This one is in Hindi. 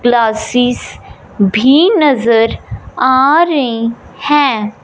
ग्लासीस भी नजर आ रही हैं।